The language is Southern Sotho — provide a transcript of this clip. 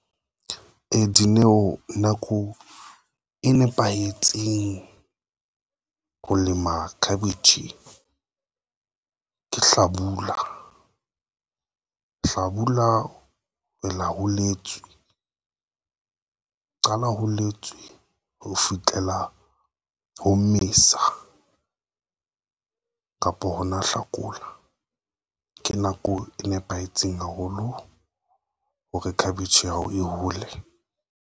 Dineo nako e nepahetseng ho lema cabbage ke hlabula hlabula. Hlabula ho letswe qala ho letswe ho fihlela ho Mmesa kapo yona Hlakola ke nako e nepahetseng haholo hore khabetje ya hao e hole.